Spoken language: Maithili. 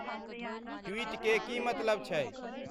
ट्वीट के की मतलब छै